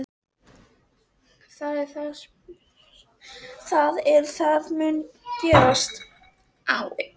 Kjartan Hreinn Njálsson: Það er það mun gerast?